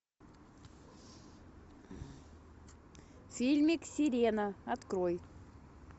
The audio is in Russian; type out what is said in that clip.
фильмик сирена открой